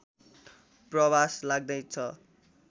प्रवास लाग्दैछ